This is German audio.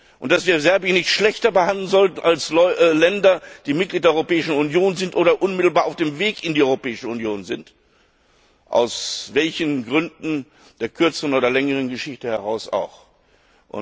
und dass wir Serbien nicht schlechter behandeln sollten als Länder, die Mitglied der Europäischen Union sind oder unmittelbar auf dem Weg in die Europäischen Union sind, aus welchen Gründen der kürzeren oder längeren Geschichte auch immer.